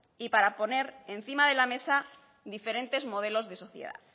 y para poner encima de la mesa diferentes modelos de sociedad